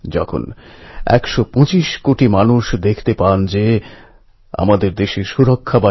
যতই তুফান উঠুক যতই বজ্রপাত হোক